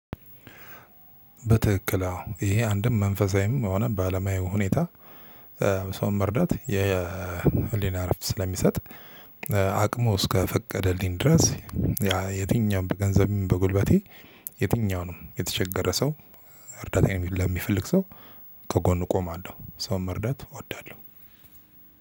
በትክክል አዎ ይሄ አንድም መንፈሳዊም ሆነ በአለማዊ ሁኔታ ሰውን መርዳት የህሊና እረፍት ስለሚሰጥ አቅሙ እስከፈቀደልኝ ድረስ ያ የትኛውም በገንዘብም በጉልበቴ የትኛውንም የተቸገረ ሰው እርዳታየን ለሚፈልግ ሰው ከጎኑ እቆማለሁ። ሰውን መርዳት እወዳለሁ።